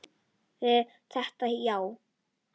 Var þetta já?